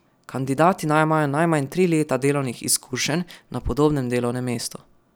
Kandidati naj imajo najmanj tri leta delovnih izkušenj na podobnem delovnem mestu.